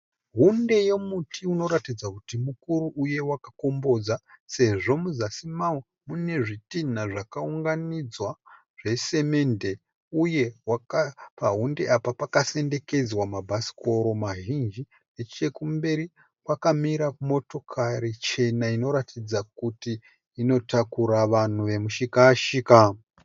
Hunde yomuti unoratidza kuti mukuru uye wakakombodza sezvo muzasi mavo une zvitina zvakaunganidzwa zvesimende uye pahunde apa pakasendekedzwa mabhasikoro mazhinji. Nechekumberi, kwakamira motokari chena inoratidza kuti inotakura vanhu vemishika-shika.